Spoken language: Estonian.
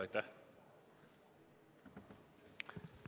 Aitäh!